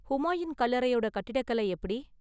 ஹூமாயூன் கல்லறையோட கட்டிடக்கலை எப்படி?